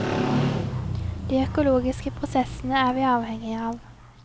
De økologiske prosessene er vi avhengige av.